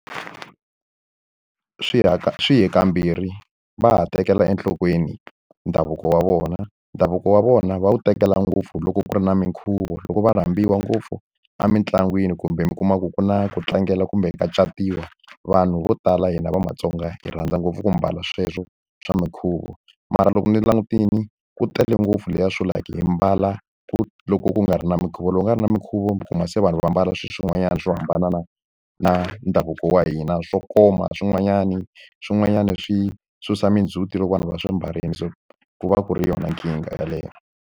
Swi swi hi kambirhi. Va ha tekela enhlokweni ndhavuko wa vona. Ndhavuko wa vona va wu tekela ngopfu loko ku ri na minkhuvo, loko va rhambiwa ngopfu emitlangwini kumbe mi kuma ku ku na ku tlangela kumbe ka catiwa, vanhu vo tala hina va maTsonga hi rhandza ngopfu ku mbala sweswo swa minkhuvo. Mara loko ni langutile ku tele ngopfu leswiya swo like hi mbala ku loko ku nga ri na minkhuvo. Loko u nga ri na minkhuvo mi kuma se vanhu va ambala swilo swin'wanyana swo hambana na na ndhavuko wa hina. Swo koma swin'wanyani, swin'wanyana swi susa mindzhuti loko vanhu va swi mbarile. So ku va ku ri yona nkingha yeleyo.